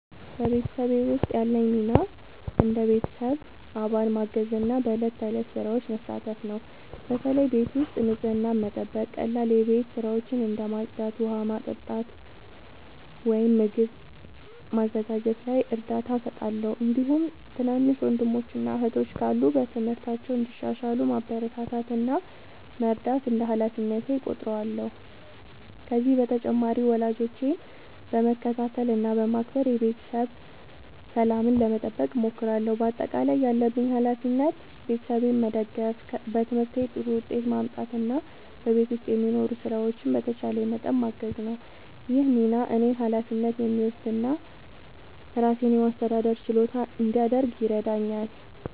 በቤተሰቤ ውስጥ ያለኝ ሚና እንደ ቤተሰብ አባል ማገዝና በዕለት ተዕለት ሥራዎች መሳተፍ ነው። በተለይ ቤት ውስጥ ንጽህናን መጠበቅ፣ ቀላል የቤት ሥራዎችን እንደ ማጽዳት፣ ውሃ ማመጣት ወይም ምግብ ማዘጋጀት ላይ እርዳታ እሰጣለሁ። እንዲሁም ትናንሽ ወንድሞችና እህቶች ካሉ በትምህርታቸው እንዲሻሻሉ ማበረታታት እና መርዳት እንደ ሃላፊነቴ እቆጥራለሁ። ከዚህ በተጨማሪ ወላጆቼን በመከታተል እና በማክበር የቤተሰብ ሰላምን ለመጠበቅ እሞክራለሁ። በአጠቃላይ ያለብኝ ሃላፊነት ቤተሰቤን መደገፍ፣ በትምህርቴ ጥሩ ውጤት ማምጣት እና በቤት ውስጥ የሚኖሩ ሥራዎችን በተቻለኝ መጠን ማገዝ ነው። ይህ ሚና እኔን ኃላፊነት የሚወስድ እና ራሴን የማስተዳደር ችሎታ እንዲያድግ ይረዳኛል።